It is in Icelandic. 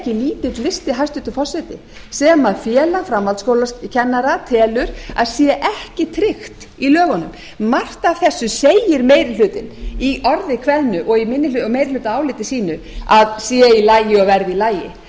lítill listi hæstvirtur forseti sem félag framhaldsskólakennara telur að sé ekki tryggt í lögunum margt af þessu segir meiri hlutinn í orði kveðnu og í meirihlutaáliti sínu að sé í lagi og verði í lagi